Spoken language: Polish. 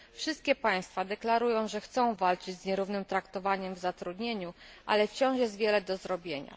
Wszystkie państwa deklarują, że chcą walczyć z nierównym traktowaniem w zatrudnieniu, ale wciąż jest wiele do zrobienia.